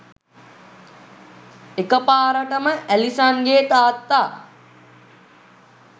එකපාරටම ඇලිසන්ගේ තාත්තා